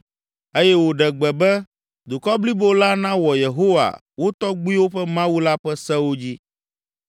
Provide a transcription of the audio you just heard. eye wòɖe gbe be, dukɔ blibo la nawɔ Yehowa, wo tɔgbuiwo ƒe Mawu la ƒe sewo dzi.